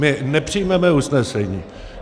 My nepřijmeme usnesení.